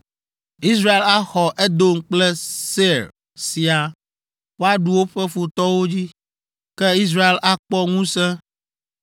Israel axɔ Edom kple Seir siaa; woaɖu woƒe futɔwo dzi. Ke Israel akpɔ ŋusẽ